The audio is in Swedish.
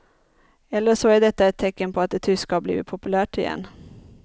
Eller så är detta ett tecken på att det tyska har blivit populärt igen.